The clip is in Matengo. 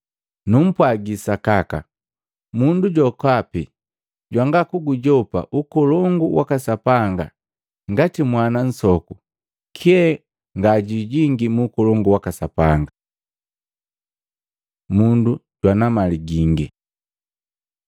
Numpwagi sakaka! Mundu jokapi jwanga kugujopa Ukolongu waka Sapanga ngati mwana nsoku, kyee nga jwijingi mu Ukolongu waka Sapanga.” Mundu jwana mali gingi Matei 19:16-30; Maluko 10:17-31